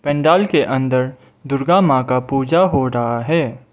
पंडाल के अंदर दुर्गा मां का पूजा हो रहा है।